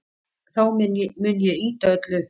Þá mun ég ýta öllu upp.